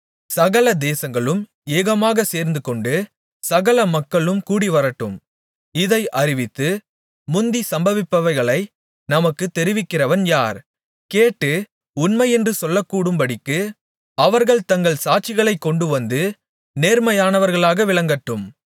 சகல தேசங்களும் ஏகமாகச் சேர்ந்துகொண்டு சகல மக்களும் கூடிவரட்டும் இதை அறிவித்து முந்தி சம்பவிப்பவைகளை நமக்குத் தெரிவிக்கிறவன் யார் கேட்டு உண்மையென்று சொல்லக்கூடும்படிக்கு அவர்கள் தங்கள் சாட்சிகளைக் கொண்டுவந்து நேர்மையானவர்களாக விளங்கட்டும்